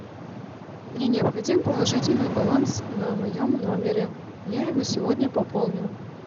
мне необходим положительный баланс на моем номере я его сегодня пополню